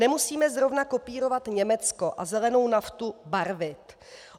Nemusíme zrovna kopírovat Německo a zelenou naftu barvit.